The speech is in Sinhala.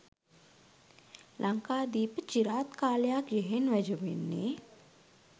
ලංකාදීප චිරාත් කාලයක් යෙහෙන් වැජඹෙන්නේ